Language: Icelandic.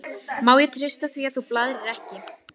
Má ég treysta því að þú blaðrir ekki?